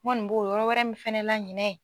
N kɔni b'o yɔrɔ wɛrɛ min fɛnɛ la ɲinɛ